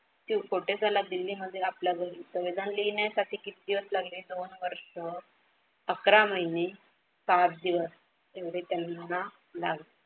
कोठे झाला? दिल्लीमध्ये आपल्या घरी. संविधान लिहिण्यासाठी किती दिवस लागले? दोन वर्ष अकरा महिने सात दिवस एवढे त्यांना लागले.